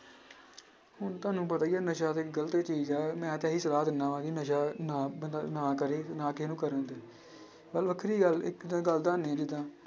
ਹੁਣ ਤੁਹਾਨੂੰ ਪਤਾ ਹੀ ਆ ਨਸ਼ਾ ਤੇ ਗ਼ਲਤ ਚੀਜ਼ ਆ ਮੈਂ ਤਾਂ ਇਹੀ ਸਲਾਹ ਦਿਨਾਂ ਵਾਂ ਕਿ ਨਸ਼ਾ ਨਾ ਨਾ ਕਰੇ ਤੇ ਨਾ ਕਿਸੇ ਨੂੰ ਕਰਨ ਦੇਵੇ ਨਾਲੇ ਵੱਖਰੀ ਗੱਲ ਇੱਕ ਜਿੱਦਾਂ